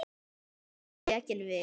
Vaninn tekinn við.